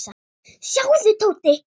Sjáðu, Tóti.